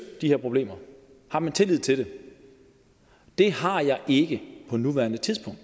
de her problemer har man tillid til det det har jeg ikke på nuværende tidspunkt